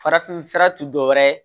Farafinfura tɛ dɔwɛrɛ ye